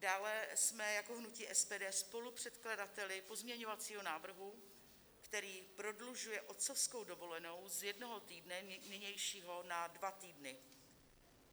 Dále jsme jako hnutí SPD spolupředkladateli pozměňovacího návrhu, který prodlužuje otcovskou dovolenou z jednoho týdne nynějšího na dva týdny.